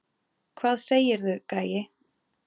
Hvað segirðu, gæi?